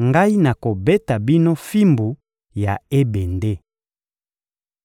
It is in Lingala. ngai nakobeta bino fimbu ya ebende.»